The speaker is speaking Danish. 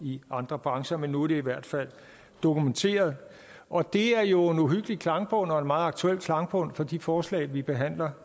i andre brancher men nu er det i hvert fald dokumenteret og det er jo en uhyggelig klangbund og en meget aktuel klangbund for de forslag vi behandler